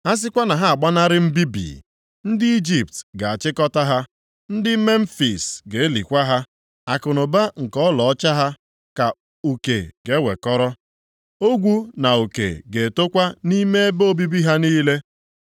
A sịkwa na ha agbanarị mbibi, ndị Ijipt ga-achịkọta ha. Ndị Memfis ga-elikwa ha. Akụnụba nke ọlaọcha ha ka uke ga-ewekọrọ, ogwu na uke ga-etokwa nʼime ebe obibi ha niile,